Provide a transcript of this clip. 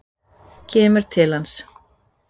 Kemur til hans.